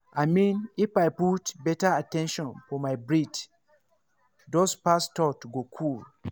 i mean if i put better at ten tion for my breath those fast thoughts go cool.